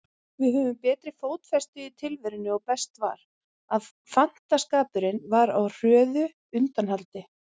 Við höfðum betri fótfestu í tilverunni og best var, að fantaskapurinn var á hröðu undanhaldi.